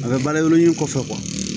A bɛ baara ɲɛfɔ